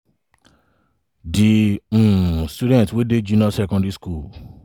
di um students wey dey junior secondary school